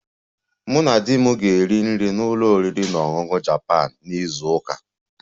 Mụ na di m ga-eri nri na ụlọ oriri na ọṅụṅụ Japan na izu ụka a